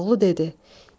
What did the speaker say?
Koroğlu dedi.